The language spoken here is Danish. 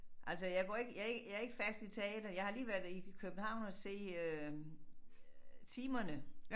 Altså jeg går ikke jeg ikke jeg ikke fast i teatret jeg har lige været i København og se øh Timerne